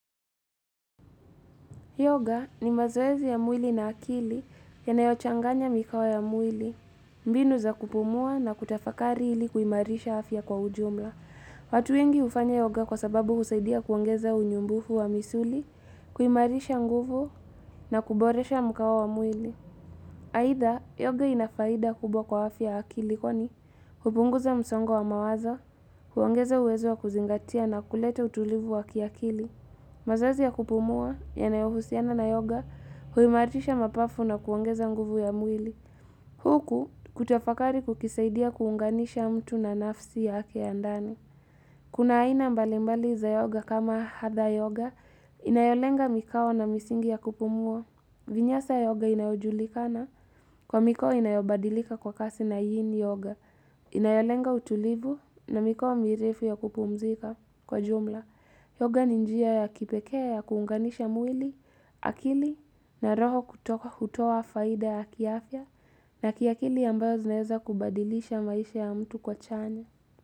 Yoga ni mazoezi ya mwili na akili ya nayochanganya mikawa ya mwili, mbinu za kupumua na kutafakari ili kuimarisha afya kwa ujumla. Watu wengi hufanya yoga kwa sababu husaidia kuongeza unyumbufu wa misuli, kuimarisha nguvu na kuboresha mkawa wa mwili. Aidha, yoga ina faida kubwa kwa afya akili kwani hukupunguza msongo wa mawazo, huongeza uwezo wa kuzingatia na kuleta utulivu wa kiakili. Aidha, yoga inafahida kubwa kwa afya ya akili kwa ni kupunguza msongwa wa mawaza, kuangeza uwezo wa kuzingatia na kuleta utulivu wa kiakili. Huku kutafakari kukisaidia kuunganisha mtu na nafsi yake ya ndani. Kuna aina mbalimbali za yoga kama hadha yoga inayolenga mikawa na misingi ya kupumua. Vinyasa yoga inayojulikana kwa mikawa inayobadilika kwa kasi na yin yoga. Inayolenga utulivu na mikawa mirifu ya kupumzika kwa jumla. Yoga ni njia ya kipekee ya kuunganisha mwili, akili na roho kutoka hutoa faida ya kiafya na kia kili ambayo zineza kubadilisha maisha ya mtu kwa chanya.